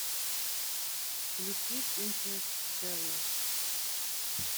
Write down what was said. включить интерстеллар